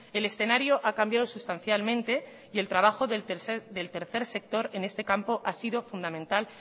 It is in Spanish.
el escenario ha cambiado sustancialmente y el trabajo del tercer sector en este campo ha sido fundamental